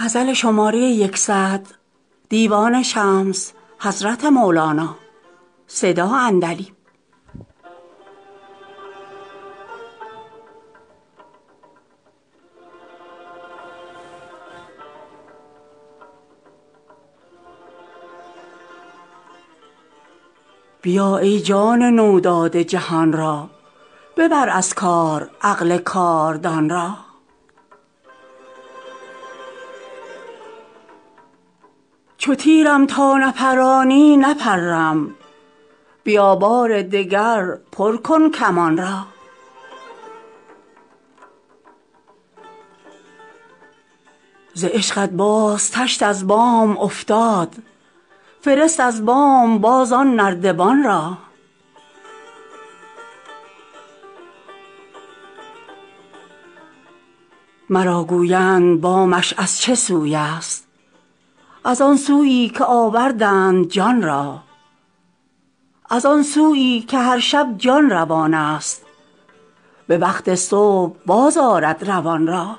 بیا ای جان نو داده جهان را ببر از کار عقل کاردان را چو تیرم تا نپرانی نپرم بیا بار دگر پر کن کمان را ز عشقت باز تشت از بام افتاد فرست از بام باز آن نردبان را مرا گویند بامش از چه سوی است از آن سویی که آوردند جان را از آن سویی که هر شب جان روان است به وقت صبح بازآرد روان را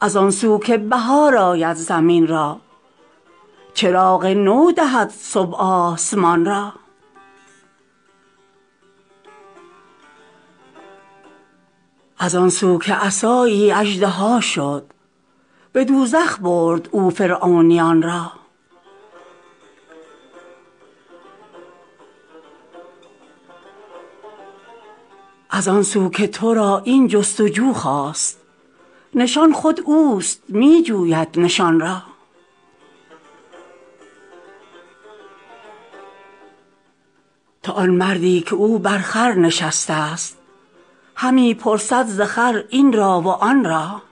از آن سو که بهار آید زمین را چراغ نو دهد صبح آسمان را از آن سو که عصایی اژدها شد به دوزخ برد او فرعونیان را از آن سو که تو را این جست و جو خاست نشان خود اوست می جوید نشان را تو آن مردی که او بر خر نشسته است همی پرسد ز خر این را و آن را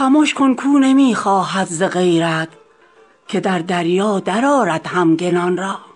خمش کن کاو نمی خواهد ز غیرت که در دریا درآرد همگنان را